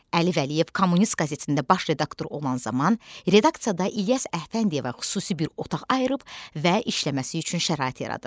Əli Vəliyev Kommunist qəzetində baş redaktor olan zaman redaksiyada İlyas Əfəndiyevə xüsusi bir otaq ayırıb və işləməsi üçün şərait yaradır.